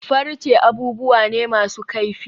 Farce abubuwa ne masu kaifi.